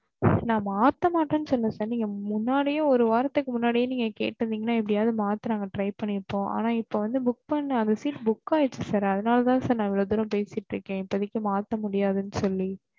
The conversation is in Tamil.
நான் மாத்த மாட்டேன் சொல்ல sIr முன்னாடியே ஒரு வாரத்துக்கு முன்னாடியே நீங்க கேட்டுருந்தேங்கன்னா எப்டியாவது நாங்க மாத்த try ண்ணிருபோம் ஆனா இப்ப வந்து. book பண்ணேன் அந்த seat book ஆயிருச்சு sir அதுனால தான் நான் இவ்ளோ தூரம் பேசிட்டு இருக்கேன் இப்பதைக்கு மாத்த முடியாதுன்னு சொல்லி